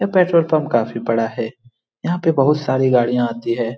यह petrol pump काफी बड़ा है | यहाँ पे बहुत साड़ी गाड़िया आती हे ।